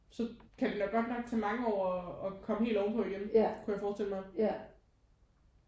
Så kan det nok godt nok tage mange år og at komme helt ovenpå igen kunne jeg forestille mig